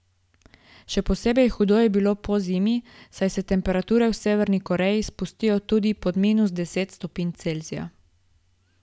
Še posebej hudo je bilo po zimi, saj se temperature v Severni Koreji spustijo tudi pod minus deset stopinj Celzija.